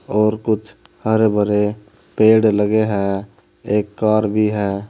और कुछ हरे भरे पेड़ लगे हैं एक कार भी है।